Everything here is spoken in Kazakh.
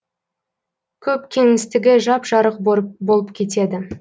көк кеңістігі жап жарық болып кетеді